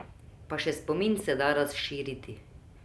Pa še spomin se da razširiti.